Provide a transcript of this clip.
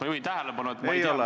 Ma juhin tähelepanu, et ma ei ole ...